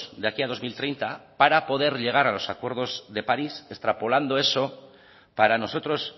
de aquí a dos mil treinta para poder llegar a los acuerdos de parís extrapolando eso para nosotros